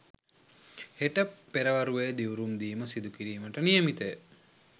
හෙට පෙරවරුවේ දිවුරුම් දීම සිදු කිරීමට නියමිතය